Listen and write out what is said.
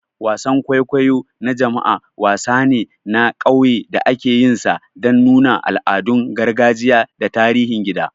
Wasan kwaikwayo na jama'a, wasan ne na ƙauye da akeyinsa dan nuna al'adun gargajiya da tarihin gida.